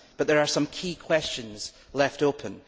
But there are some key questions left open.